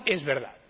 ¡No es verdad!